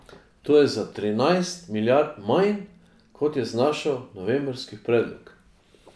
To je za trinajst milijard manj, kot je znašal novembrski predlog.